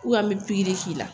an bɛ pikiri k'i la